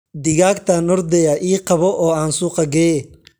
Digaagtan ordaya ii qabo oo an suuqa geeye.